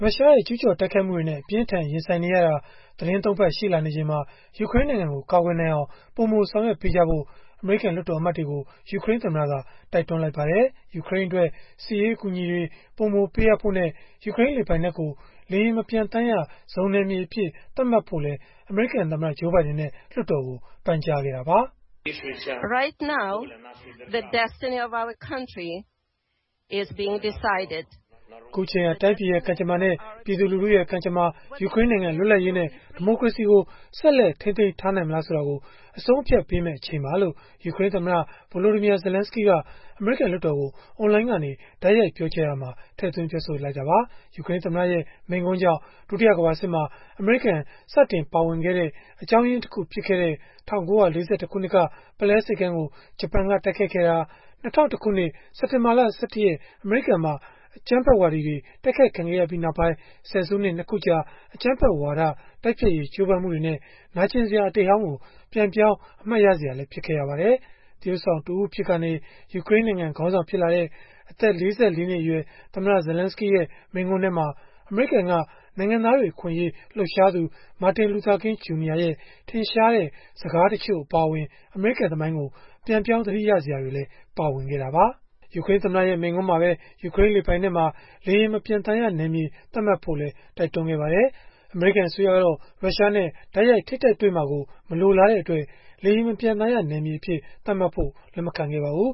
ုရှားရဲ့ ကျုးကျော်တိုက်ခိုက်မှုတွေနဲ့ အပြင်းအထန် ရင်ဆိုင်နေရတာ သီတင်း ၃ ပတ် ရှိလာနေချိန်မှာ ယူကရိန်းနိုင်ငံကို ကာကွယ်နိုင်အောင် ပိုမိုဆောင်ရွက်ပေးကြဖို့ အမေရိကန် လွှတ်တော်အမတ်တွေကို ယူကရိန်းသမ္မတက တိုက်တွန်းလိုက်ပါတယ်။ ယူကရိန်းအတွက် စစ်ရေးအကူအညီတွေ ပိုမိုပေးအပ်ဖို့နဲ့ ယူကရိန်းလေပိုင်နက်ကို လေယာဉ်မပျံသန်းရဇုန်နယ်မြေအဖြစ် သတ်မှတ်ဖို့လည်း အမေရိကန်သမ္မတ Joe Biden နဲ့ လွှတ်တော်ကို ပန်ကြားခဲ့တာပါ။ “အခုအချိန်ဟာ တိုင်းပြည်ရဲ့ ကံကြမ္မာ၊ ပြည်သူလူထုရဲ့ ကံကြမ္မာ၊ ယူကရိန်းနိုင်ငံ လွတ်လပ်ရေးနဲ့ ဒီမိုကရေစီကို ဆက်လက် ထိန်းသိမ်းထားနိုင်မလားဆိုတာကို အဆုံးအဖြတ်ပေးမယ့် အချိန်ပါ။” လို့ ယူကရိန်းသမ္မတ Volodymyr Zelenskyy က အမေရိကန် လွှတ်တော်ကို အွန်လိုင်းကနေ တိုက်ရိုက်ပြောကြားရာမှာ ထည့်သွင်းပြောဆိုခဲ့တာပါ။ ယူကရိန်းသမ္မတရဲ့ မိန့်ခွန်းကြောင့် ဒုတိယကမ္ဘာစစ်မှာ အမေရိကန် စတင်ပါဝင်ခဲ့တဲ့ အကြောင်းရင်းတခု ဖြစ်ခဲ့တဲ့ ၁၉၄၁ ခုနှစ်က ပုလဲဆိပ်ကမ်းကို ဂျပန်က တိုက်ခိုက်ခဲ့တာ၊ ၂၀၀၁ ခုနှစ် စက်တင်ဘာ ၁၁ အမေရိကန်မှာ အကြမ်းဖက်ဝါဒီတွေ တိုက်ခိုက်ခံခဲ့ရပြီးနောက်ပိုင်း ဆယ်စုနှစ် ၂ ခုကြာ အကြမ်းဖက်ဝါဒ တိုက်ဖျက်ရေး ကြိုးပမ်းမှုတွေရဲ့ နာကျင်စရာ အတိတ်ဟောင်းကို ပြန်ပြောင်း အမှတ်ရစရာ ဖြစ်ခဲ့ရပါတယ်။ သရုပ်ဆောင်တဦးအဖြစ်ကနေ ယူကရိန်းနိုင်ငံ ခေါင်းဆောင် ဖြစ်လာတဲ့ အသက် ၄၄ နှစ်အရွယ် သမ္မတ Zelenskyy ရဲ့ မိန့်ခွန်းထဲမှာ အမေရိကန်က နိုင်ငံသားတွေ အခွင့်အရေး လှုပ်ရှားသူ Martin Luther King, Jr. ရဲ့ ထင်ရှားတဲ့ စကားတချို့ အပါအဝင် အမေရိကန်သမိုင်းကို ပြန်ပြောင်းသတိရစရာတွေလည်း ပါဝင်ခဲ့တာပါ။ ယူကရိန်းသမ္မတရဲ့ မိန့်ခွန်းမှာပဲ ယူကရိန်းလေပိုင်နက်မှာ လေယာဉ်မပျံသန်းရနယ်မြေ သတ်မှတ်ဖို့လည်း တိုက်တွန်းခဲ့ပါတယ်။ အမေရိကန် အစိုးရကတော့ ရုရှားနဲ့ တိုက်ရိုက်ထိပ်တိုက်တွေ့မှာကို မလိုလားတဲ့အတွက် လေယာဉ်မပျံသန်းရနယ်မြေအဖြစ် သတ်မှတ်ဖို့ လက်မခံပါဘူး